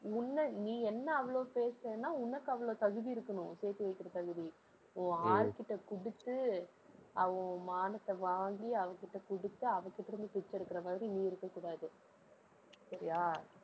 உன்னை நீ என்னை அவ்வளவு பேசுறன்னா உனக்கு அவ்வளவு தகுதி இருக்கணும் சேர்த்து வைக்கிற தகுதி உன் ஆள்கிட்ட கொடுத்து அவ உன் மானத்தை வாங்கி அவ கிட்ட கொடுத்து அவ கிட்ட இருந்து பிச்சை எடுக்கிற மாதிரி நீ இருக்கக் கூடாது சரியா?